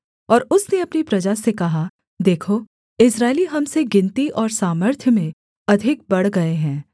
और उसने अपनी प्रजा से कहा देखो इस्राएली हम से गिनती और सामर्थ्य में अधिक बढ़ गए हैं